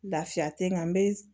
Lafiya tɛ n kan n bɛ